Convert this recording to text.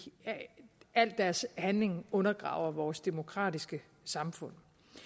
al deres handling undergraver vores demokratiske samfund